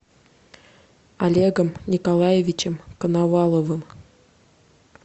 олегом николаевичем коноваловым